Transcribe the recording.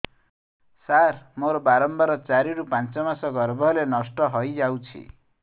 ସାର ମୋର ବାରମ୍ବାର ଚାରି ରୁ ପାଞ୍ଚ ମାସ ଗର୍ଭ ହେଲେ ନଷ୍ଟ ହଇଯାଉଛି